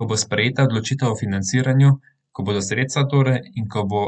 Ko bo sprejeta odločitev o financiranju, ko bodo sredstva, torej, in ko bo